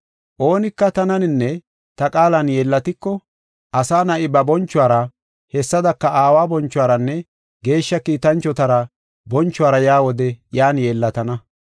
Oonika tananinne ta qaalan yeellatiko, Asa Na7i ba bonchuwara hessadaka aawa bonchuwaranne Geeshsha kiitanchota bonchuwara yaa wode iyan yeellatana.